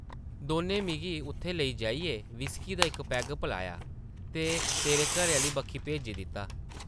दौनें मिगी उत्थै लेई जाइयै व्हिस्की दा इक पैग पलाया ते तेरे घरै आह्ली बक्खी भेजी दित्ता ।